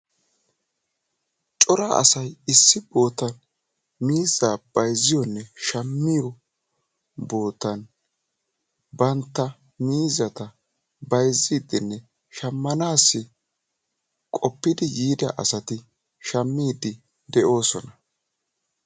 Cora asay issi boottan miizzaa shammiyoonne bayzziyoo bootan bantta miizzata bayzziidinne shammanassi qoppidi yiida asati shammiidi de'oosona.